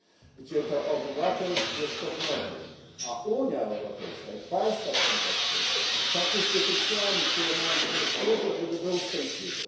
gdzie to obywatel jest podmiotem, a Unia Europejska i państwa członkowskie są instytucjami, które mają mu służyć i służyć temu, żeby był szczęśliwy.